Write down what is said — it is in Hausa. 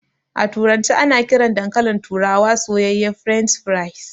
A turance ana kiran dankalin turawa soyayye "French fries".